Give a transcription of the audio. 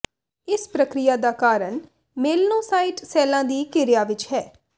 ਇਸ ਪ੍ਰਕਿਰਿਆ ਦਾ ਕਾਰਨ ਮੇਲਨੋਸਾਈਟ ਸੈੱਲਾਂ ਦੀ ਕਿਰਿਆ ਵਿਚ ਹੈ